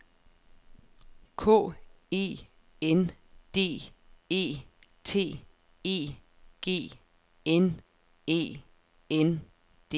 K E N D E T E G N E N D E